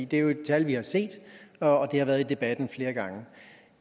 det er jo det tal vi har set og det har været i debatten flere gange